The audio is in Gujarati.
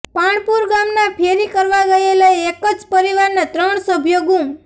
પાણપુર ગામના ફેરી કરવા ગયેલા એક જ પરિવારના ત્રણ સભ્યો ગૂમ